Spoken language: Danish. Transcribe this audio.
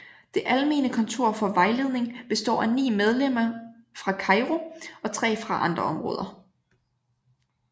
Det almene kontor for vejledning består af ni medlemmer fra Cairo og tre fra andre områder